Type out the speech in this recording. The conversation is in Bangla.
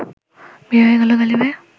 বিয়ে হয়ে গেল গালিবের